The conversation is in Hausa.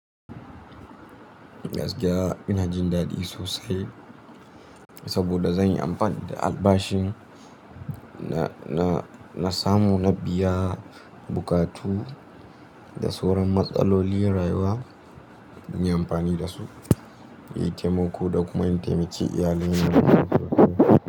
Gaskiya ina jin daɗi sosai saboda zan yi amfani da albashin na, na, na samu na biya buƙatu da sauran matsalolin rayuwa, zan yi amfani da su, inyi taimako da kuma in taimaki iyalina da wasu.